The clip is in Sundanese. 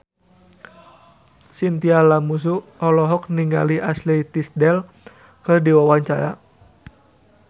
Chintya Lamusu olohok ningali Ashley Tisdale keur diwawancara